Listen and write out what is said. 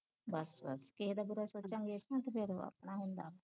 ਬਸ ਬਸ ਕਿਹੇ ਦਾ ਬੁਰਾ ਸੋਚਾਂਗੇ ਤੇ ਆਪਣਾ ਹੁੰਦਾ